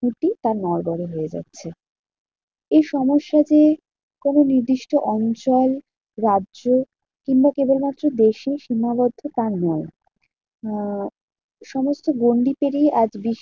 খুঁটি তা নড়বড়ে হয়ে যাচ্ছে। এই সমস্যা যে কোনো নির্দিষ্ট অঞ্চল, রাজ্য কিংবা কেবলমাত্র দেশেই সীমাবদ্ধ তা নয়। আহ সমস্ত গন্ডি পেরিয়ে আজ বিশ্বে